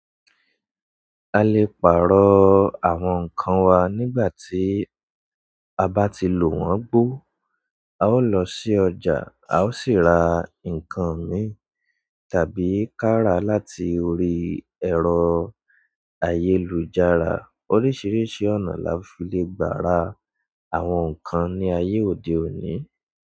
A lè pàrọ̀ àwọn ǹkan wa nígbà tí a bá ti lò wọ́n gbó, a ó lọ sí ọjà, a ó sì ra ǹkan mìíràn tàbí ká ra láti orí ẹ̀rọ ayélujára. Oríṣiríṣi ọ̀nà la fi lè gbà ra àwọn ǹkan ní ayé òde òní.